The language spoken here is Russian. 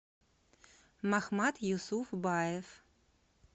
махмат юсуфбаев